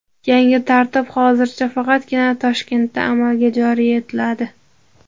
Yangi tartib hozircha faqatgina Toshkentda amalga joriy etiladi.